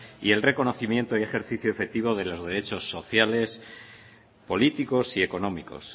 y el reconocimiento y ejercicio efectivo de los derechos sociales políticos y económicos